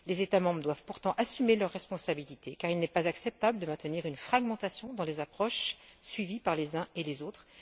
Les États membres doivent pourtant assumer leurs responsabilités, car il n'est pas acceptable de maintenir une fragmentation dans les approches suivies par les uns et les autres.